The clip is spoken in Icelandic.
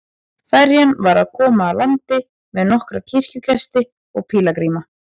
Ferjan var að koma að landi með nokkra kirkjugesti og pílagríma.